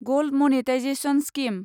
gold monetisation scheme